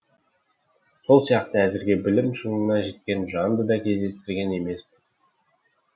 сол сияқты әзірге білім шыңына жеткен жанды да кездестірген емеспін